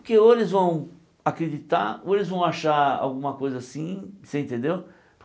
Porque ou eles vão acreditar, ou eles vão achar alguma coisa assim, você entendeu?